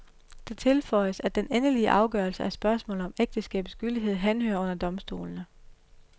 Det tilføjes, at den endelige afgørelse af spørgsmålet om ægteskabets gyldighed henhører under domstolene.